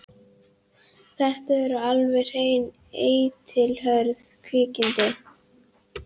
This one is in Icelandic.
Þetta eru alveg hreint eitilhörð kvikindi.